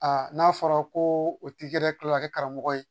Aa n'a fɔra ko o tigi yɛrɛ kila kɛ karamɔgɔ ye